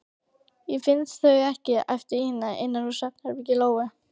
Ég finn þau ekki, æpti Ína innan úr svefnherbergi Lóu.